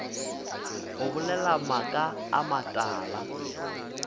o bolela maaka a matala